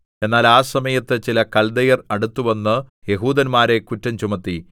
എന്നാൽ ആ സമയത്ത് ചില കല്ദയർ അടുത്തുവന്ന് യഹൂദന്മാരെ കുറ്റം ചുമത്തി